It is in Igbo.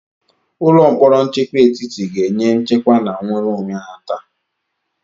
Ụlọ mkpọrọ nchekwa etiti ga-enye nchekwa na nnwere onwe nhata.